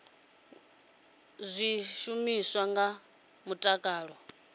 ngo thithisa zwishumiswa zwa mutakalo